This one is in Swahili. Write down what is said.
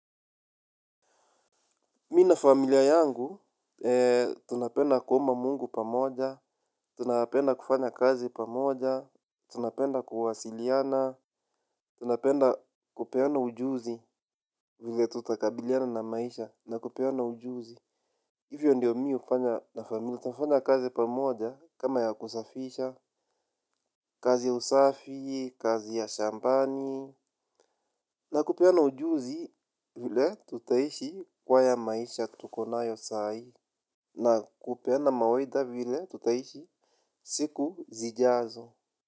Mimi na familia yangu, tunapenda kuomba mungu pamoja, tunapenda kufanya kazi pamoja, tunapenda kuwasiliana, tunapenda kupeana ujuzi vile tutakabiliana na maisha na kupeana ujuzi. Hivyo ndio mimi hufanya na familia, tunafanya kazi pamoja kama ya kusafisha, kazi ya usafi, kazi ya shambani. Na kupeana ujuzi vile tutaishi kwa haya maisha tukonayo saa hii. Na kupeana mawaidha vile tutaishi siku zijazo.